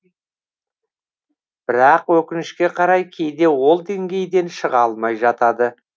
бірақ өкінішке қарай кейде ол деңгейден шыға алмай жатады